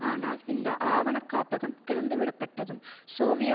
ஆனால் இந்த ஆவணக்காப்பகம் திறந்துவிடப்பட்டதும் சோவிய